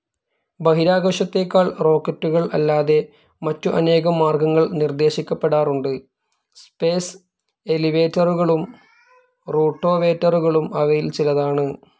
ബഹിരാകാശത്തേക്കാൾ റോക്കറ്റുകൾ അല്ലാതെ മറ്റു അനേകം മാർഗ്ഗങ്ങൾ നിർദ്ദേശിക്കപ്പെടാറുണ്ട്. സ്പേസ്‌ എലിവേറ്ററുകളും റൂട്ടോവേറ്ററുകളും അവയിൽ ചിലതാണ്.